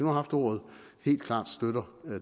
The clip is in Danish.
har haft ordet helt klart støtter